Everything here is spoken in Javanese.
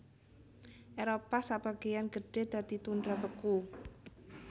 Éropah sabagéyan gedhé dadi tundra beku